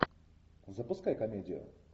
запускай комедию